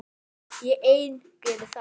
Ég ein geri það.